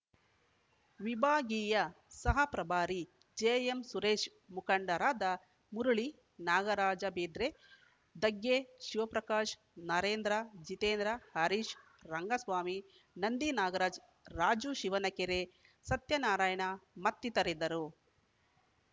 ವಿಭಾಗೀಯ ಸಹ ಪ್ರಭಾರಿ ಜಿಎಂಸುರೇಶ್‌ ಮುಖಂಡರಾದ ಮುರುಳಿ ನಾಗರಾಜ ಬೇದ್ರೆ ದಗ್ಗೆ ಶಿವಪ್ರಕಾಶ್‌ ನರೇಂದ್ರ ಜಿತೇಂದ್ರ ಹರೀಶ್‌ ರಂಗಸ್ವಾಮಿ ನಂದಿ ನಾಗರಾಜ್‌ ರಾಜು ಶಿವನಕೆರೆ ಸತ್ಯನಾರಾಯಣ ಮತ್ತಿತರರಿದ್ದರು